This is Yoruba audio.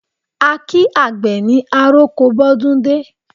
A kí àgbè ní àroko bọ́dúndé